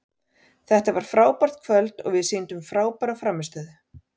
Þetta var frábært kvöld og við sýndum frábæra frammistöðu.